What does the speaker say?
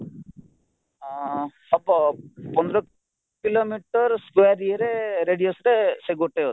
ଅଂ ହବ ପନ୍ଦର କିଲୋମିଟର square ଇଏରେ radius ଟେ ସେ ଗୋଟେ ଅଛି